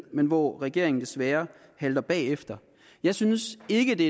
men hvor regeringen desværre halter bagefter jeg synes ikke